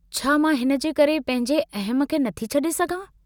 छा मां हिनजे करे पंहिंजे अहम खे नथी छड़े सघां?